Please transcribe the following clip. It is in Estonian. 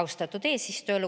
Austatud eesistuja!